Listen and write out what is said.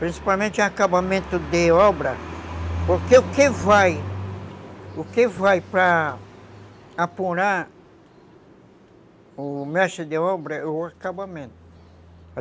principalmente em acabamento de obra, porque o que vai para apurar o mestre de obra é o acabamento.